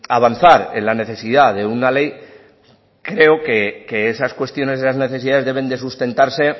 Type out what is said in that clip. avanzar en la necesidad de una ley creo que esas cuestiones de las necesidades deben de sustentarse